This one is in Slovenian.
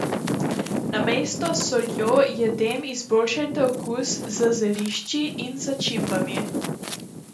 Namesto s soljo jedem izboljšajte okus z zelišči in začimbami.